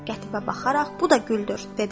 Qətiyə baxaraq bu da güldür, dedi.